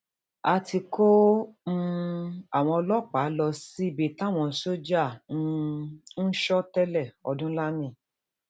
a ti kó um àwọn ọlọpàá lọ síbi táwọn sójà um ń sọ tẹ́lẹ̀ ọdúnlami